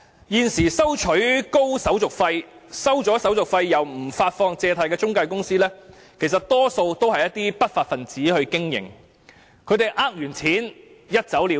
現時收取高手續費、收取手續費後卻不發放借貸的中介公司，其實多數由不法分子經營，騙錢後便一走了之。